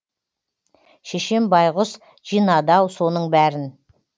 шешем байғұс жинады ау соның бәрін